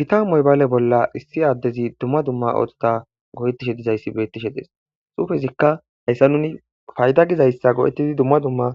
Giita moybaale bolla issi aaddezi dumma dumma ooththota go7ettishe dizayssi beettishe de7es xufezikka hayssa nuni fayda gizayssa go7ettidi dumma dumma